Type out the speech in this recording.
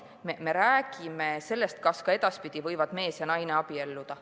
Me räägime sellest, kas ka edaspidi võivad mees ja naine abielluda.